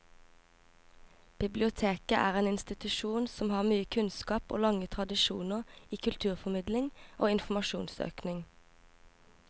Biblioteket er en institusjon som har mye kunnskap og lange tradisjoner i kulturformidling og informasjonssøking.